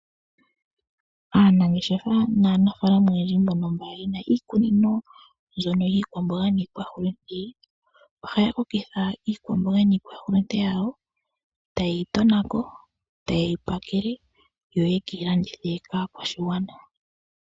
Aanangeshefa naanafaalama oyendji mbono mba yena iikunino mbyono yiikwamboga niihulunde ohaya kokitha iikwamboga niihulunde yawo etaye yi tona ko etaye yi pakele yo yeke yi landithe kaakwashigwana.